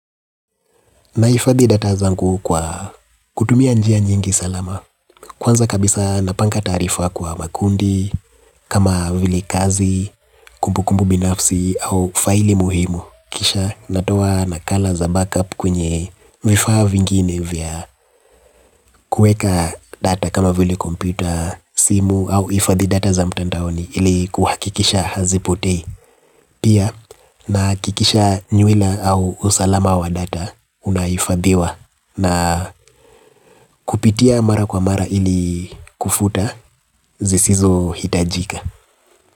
Ninaifadhi data zangu kwa kutumia njia nyingi salama. Kwanza kabisa napanga taarifa kwa makundi, kama vile kazi, kumbukumbu binafsi au faili muhimu. Kisha natoa nakala za backup kwenye vifaa vingine vya kuweka data kama vile kompyuta, simu au kuhifadhi data za mtandaoni ili kuhakikisha hazipotei. Pia nahakikisha nywila au usalama wa data unaifadhiwa na kupitia mara kwa mara ili kufuta zisizohitajika.